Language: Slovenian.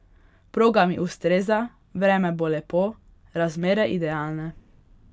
Proga mi ustreza, vreme bo lepo, razmere idealne.